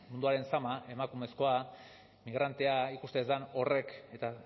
munduaren zama emakumezkoa migrantea ikusten ez den horrek eta